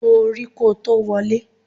Bo orí kò tó wọlé.